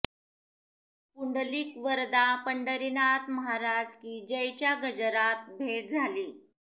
पुंडलीक वरदा पंढरीनाथ महाराज की जयच्या गजरात भेट झाली